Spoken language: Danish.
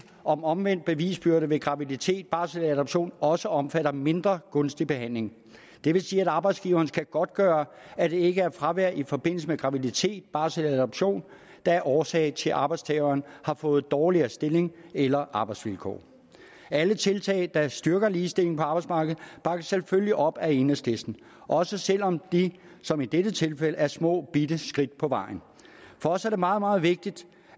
om omvendt bevisbyrde ved graviditet barsel eller adoption også omfatter mindre gunstig behandling det vil sige at arbejdsgiveren skal godtgøre at det ikke er fravær i forbindelse med graviditet barsel eller adoption der er årsagen til at arbejdstageren har fået dårligere stilling eller arbejdsvilkår alle tiltag der styrker ligestilling på arbejdsmarkedet bakkes selvfølgelig op af enhedslisten også selv om de som i dette tilfælde er små bitte skridt på vejen for os er det meget meget vigtigt